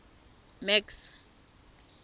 max